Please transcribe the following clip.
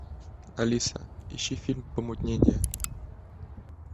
алиса ищи фильм помутнение